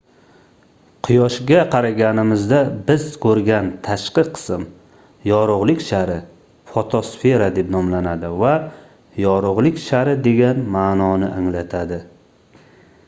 quyoshga qaraganimizda biz koʻrgan tashqi qism yorugʻlik shari fotosfera deb nomlanadi va yorugʻlik shari degan maʼnoni anglatadi